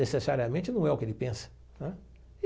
Necessariamente não é o que ele pensa.